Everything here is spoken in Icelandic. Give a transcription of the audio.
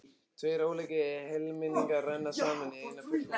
Tveir ólíkir helmingar renna saman í eina fullkomna heild.